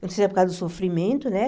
Não sei se é por causa do sofrimento, né?